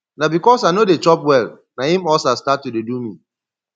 na because i no dey chop well na im ulcer start to dey do me